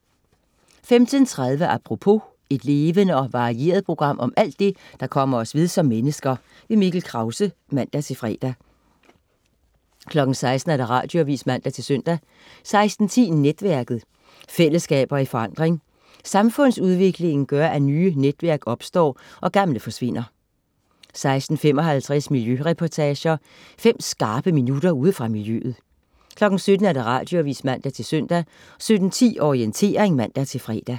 15.30 Apropos. Et levende og varieret program om alt det, der kommer os ved som mennesker. Mikkel Krause (man-fre) 16.00 Radioavis (man-søn) 16.10 Netværket. Fællesskaber i forandring. Samfundsudviklingen gør, at nye netværk opstår, og gamle forsvinder 16.55 Miljøreportager. Fem skarpe minutter ude fra miljøet 17.00 Radioavis (man-søn) 17.10 Orientering (man-fre)